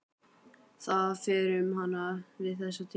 Það fer um hana við þessa tilhugsun.